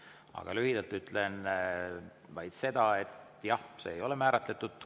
Aga lühidalt ütlen seda, et jah, see ei ole määratletud.